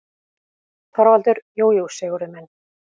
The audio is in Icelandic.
ÞORVALDUR: Jú, jú, Sigurður minn.